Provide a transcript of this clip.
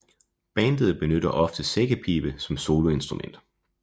Bandet benytter ofte sækkepibe som soloinstrument